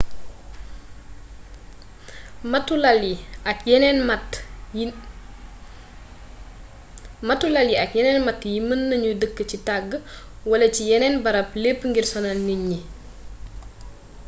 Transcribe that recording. màttu lal yi ak yeneen matt yi mën nañu dëkk ci tàgg wala ci yeneen barab lépp ngir sonal nit ñi